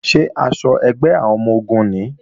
Ṣé aṣọ ẹgbẹ́ àwọn ọmọ-ogun nìí?